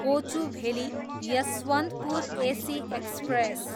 Kochuveli, Yesvantpur AC express